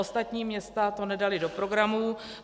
Ostatní města to nedala do programů.